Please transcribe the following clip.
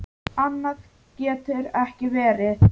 Annað getur ekki verið.